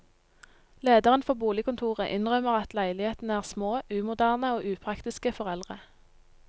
Lederen for boligkontoret innrømmer at leilighetene er små, umoderne og upraktiske for eldre.